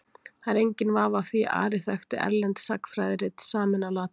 Það er enginn vafi á því að Ari þekkti erlend sagnfræðirit samin á latínu.